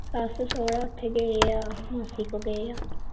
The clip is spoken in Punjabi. ਸੱਸ ਸੋਹਰਾ ਉਥੇ ਗਏ ਆ ਮਾਸੀ ਕੋ ਗਏ ਆ